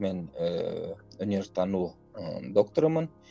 мен ііі өнертану ы докторымын